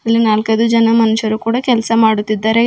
ಇಲ್ಲಿ ನಾಲ್ಕೈದು ಜನ ಮನುಷ್ಯರು ಕೂಡ ಕೆಲ್ಸ ಮಾಡುತ್ತಿದ್ದಾರೆ.